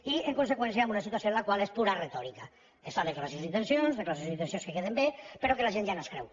i en conseqüència amb una situació la qual és pura retòrica es fan declaracions d’intencions declaracions d’inten cions que queden bé però que la gent ja no es creu